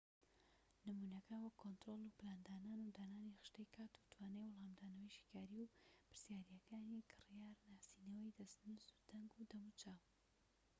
نمونەکان وەکو کۆنترۆل و پلاندانان و دانانی خشتەی کات و توانای وەلامدانەوەی شیکاری و پرسیاریەکانی کریار و ناسینەوەی دەستنوس و دەنگ و دەموچاو